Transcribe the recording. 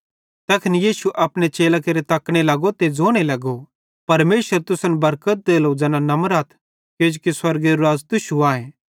तैखन यीशु अपने चेलां केरे तकने लगो ते ज़ोने लगो परमेशर तुसन बरकत देलो ज़ैना नमरथ किजोकि स्वर्गेरू राज़ तुश्शू